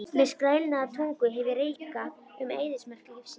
Með skrælnaða tungu hef ég reikað um eyðimörk lífsins.